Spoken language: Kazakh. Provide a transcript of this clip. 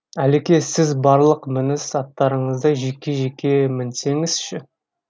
әлеке сіз барлық мініс аттарыңызды жеке жеке мінсеңізші